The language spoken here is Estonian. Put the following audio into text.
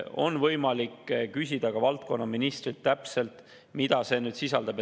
On võimalik küsida ka valdkonna ministrilt, mida see täpselt sisaldab.